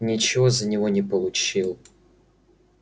ничего за него не получил